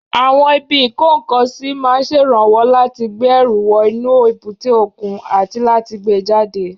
Àwọn ibi ìkó-nǹkan-sí máa ń ṣèrànwọ́ láti gbé ẹrù wọ inú èbúté òkun àti láti gbé e jáde